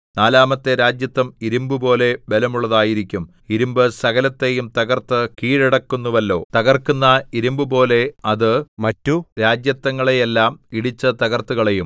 നാലാമത്തെ രാജത്വം ഇരിമ്പുപോലെ ബലമുള്ളതായിരിക്കും ഇരിമ്പ് സകലത്തെയും തകർത്ത് കീഴടക്കുന്നുവല്ലോ തകർക്കുന്ന ഇരിമ്പുപോലെ അത് മറ്റു രാജത്വങ്ങളെയെല്ലാം ഇടിച്ച് തകർത്തുകളയും